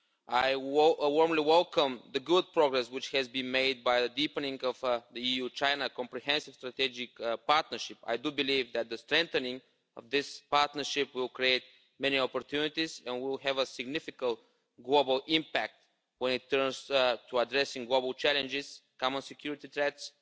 I warmly welcome the good progress which has been made by deepening the EU China Comprehensive Strategic Partnership. I believe that the strengthening of this partnership will create many opportunities, and will have a significant global impact when it comes to addressing global challenges, common security threats,